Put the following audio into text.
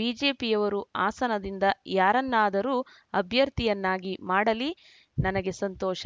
ಬಿಜೆಪಿಯವರು ಹಾಸನದಿಂದ ಯಾರನ್ನಾದರೂ ಅಭ್ಯರ್ಥಿಯನ್ನಾಗಿ ಮಾಡಲಿ ನನಗೆ ಸಂತೋಷ